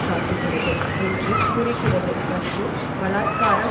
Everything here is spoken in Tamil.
காட்டுகிறது என்று கூறுகிறது மற்றும் பலாத்காரம்